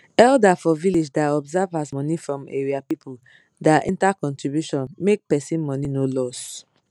elder for village da observe as money from area people da enter contribution make person money no loss